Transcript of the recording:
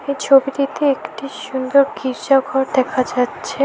ছবিটিতে একটি সুন্দর গির্জা ঘর দেখা যাচ্ছে।